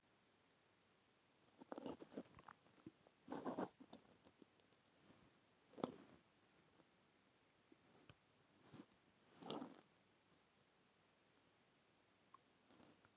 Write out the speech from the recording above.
Hver er ástæðan fyrir þessari sprengju hjá þér í dag?